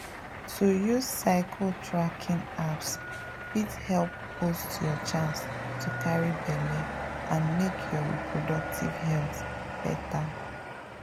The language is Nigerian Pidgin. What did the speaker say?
to use cycle tracking apps fit help boost your chance to carry belle and make your reproductive health better.